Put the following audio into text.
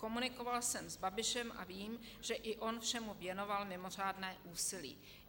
Komunikoval jsem s Babišem a vím, že i on všemu věnoval mimořádné úsilí.